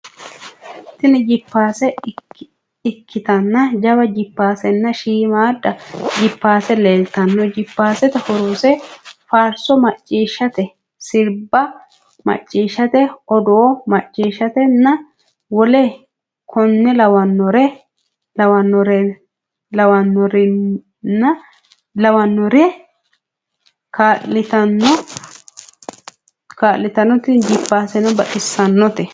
Tini jippaase ikkitana jawa jippaasenna shiimadda jippaase leeltanno. jippaasete horoseno faarso maccishshate, sirba maccishshate, odoo maccishshate nna woleno konne lawannorira kaa'litanno. tini jippaaseno baxissannote.